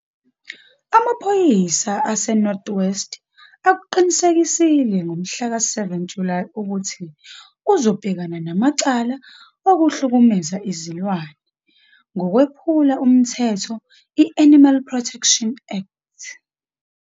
Amaphoyisa aseNorth West akuqinisekisile ngomhlaka 7 Julayi ukuthi uzobhekana namacala okuhlukumeza izilwane ngokwephula umthetho i-Animal Protection Act.